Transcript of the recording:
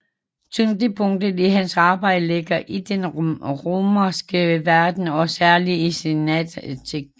Tyngdepunktet i hans arbejde ligger i den romerske verden og særligt i senantikken